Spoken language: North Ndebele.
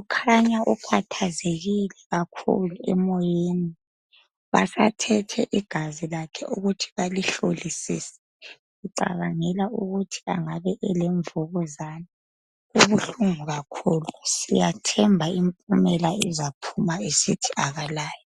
ukhanya ukhathazekile kakhulu emoyeni basathethe igazi lakhe ukuthi balihlolisise ucabangela ukuthi engabe elemvukuzani kubuhlungu kakhulu siyathemba impumela izaphuma isithi akalayo